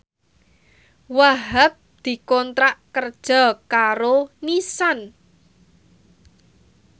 Wahhab dikontrak kerja karo Nissan